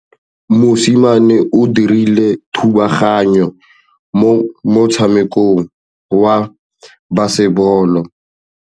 Mosimane o dirile thubaganyô mo motshamekong wa basebôlô.